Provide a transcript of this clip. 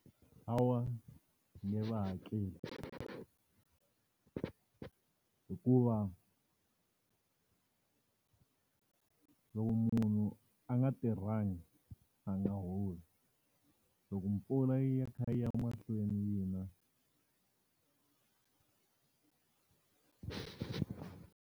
Hawa, ni nge va hakeli. Hikuva loko munhu a nga tirhangi a nga holi. Loko mpfula yi ya kha yi ya mahlweni yi na.